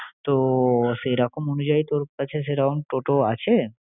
তো সেইরকম অনুযায়ী তোর কাছে সেরকম toto আছে?